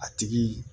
A tigi